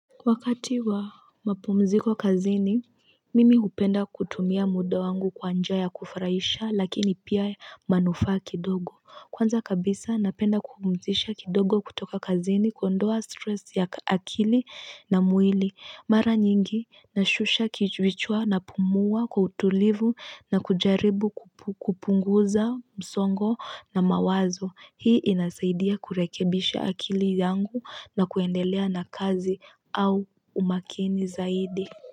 Wakati wa mapumziko kazini Mimi kupenda kutumia muda wangu kwa njia ya kufurahisha lakini pia manufaa kidogo Kwanza kabisa napenda kupumzisha kidogo kutoka kazini kuondoa stress ya akili na mwili Mara nyingi, nashusha kichwichwa na pumua kwa utulivu na kujaribu kupunguza msongo na mawazo Hii inasaidia kurekebisha akili yangu na kuendelea na kazi au umakini zaidi.